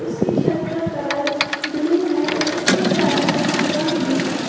उसकी छत का कलर ब्लू है और इसके साइड में मकान भी है।